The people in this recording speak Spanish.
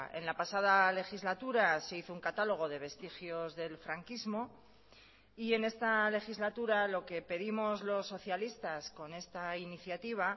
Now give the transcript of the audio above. en la pasada legislatura se hizo un catálogo de vestigios del franquismo y en esta legislatura lo que pedimos los socialistas con esta iniciativa